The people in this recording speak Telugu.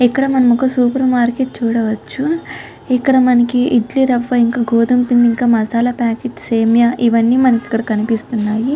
ఇక్కడ మనం ఒక సూపర్ మార్కెట్ చూడవచ్చు. ఇక్కడ మనకి ఇడ్లీ రవ్వ ఇంకా గోధుమపిండి ఇంకా మసాలా ప్యాకెట్స్ సేమియా ఇవన్నీ మనకు ఇక్కడ కనిపిస్తున్నాయి.